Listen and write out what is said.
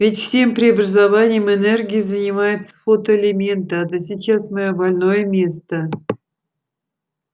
ведь всем преобразованием энергии занимаются фотоэлементы а это сейчас моё больное место